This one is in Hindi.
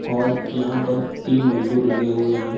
और यहाँ पर तीन मजदूर लगे हुए हैं।